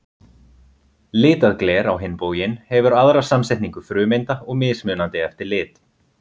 Litað gler, á hinn bóginn, hefur aðra samsetningu frumeinda og mismunandi eftir lit.